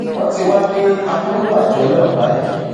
wọn ti wá ní akóló àjọ náà báyìí